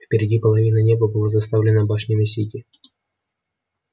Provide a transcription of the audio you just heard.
впереди половина неба была заставлена башнями сити